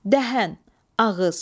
Dəhən, ağız.